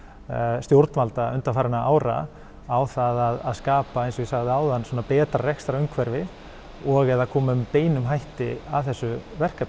stjórnvalda undanfarinna ára á það að skapa eins og ég sagði áðan svona betra rekstrarumhverfi og eða koma með beinum hætti að þessu verkefni